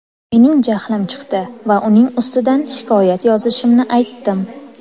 Mening jahlim chiqdi va uning ustidan shikoyat yozishimni aytdim”.